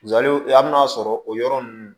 hali n'a sɔrɔ o yɔrɔ ninnu